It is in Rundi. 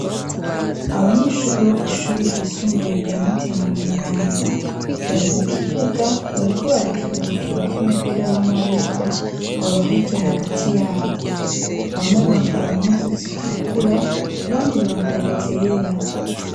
Abanyeshuri bo kw'ishuri ryisumbuye rya Mutima Mweranda bari mu kibuga, bariko barakina urukino rw'umupira w'amaboko, rwabahuje hagati y'abo. Bamwe bambaye impuzu zitukura abandi bambaye izera.